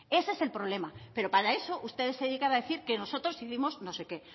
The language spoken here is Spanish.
ese es el problema pero para eso ustedes se dedican a decir que nosotros hicimos no sé qué